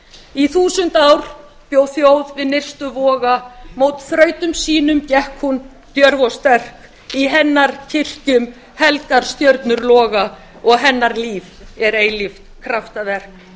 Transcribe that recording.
í þúsund ár bjóþjóð við nyrstu voga mót þrautum sínum gekk hún djörf og sterk í hennar kirkjum helgar stjörnur loga og hennar líf er eilíft kraftaverk